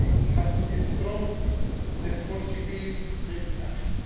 has a strong responsibility to take action.